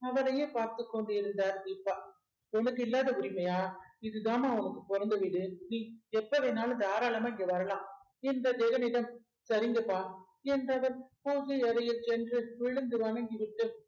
அவரையே பார்த்துக் கொண்டிருந்தார் தீபா உனக்கு இல்லாத உரிமையா இதுதாம்மா உனக்கு பொறந்த வீடு நீ எப்ப வேணாலும் தாராளமா இங்க வரலாம் என்ற ஜெகனிடம் சரிங்கப்பா என்றவன் பூஜை அறையில் சென்று விழுந்து வணங்கிவிட்டு